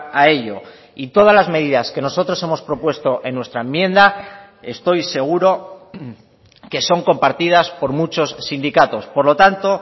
a ello y todas las medidas que nosotros hemos propuesto en nuestra enmienda estoy seguro que son compartidas por muchos sindicatos por lo tanto